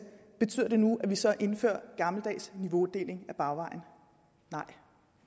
betyder det nu at vi så indfører gammeldags niveaudeling ad bagvejen nej